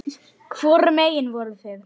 Hvorum megin voruð þið?